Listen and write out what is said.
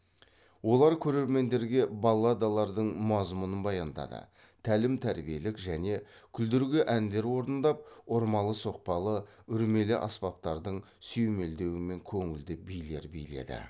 олар көрермендерге балладалардың мазмұнын баяндады тәлім тәрбиелік және күлдіргі әндер орындап ұрмалы соқпалы үрлемелі аспаптардың сүйемелдеуімен көңілді билер биледі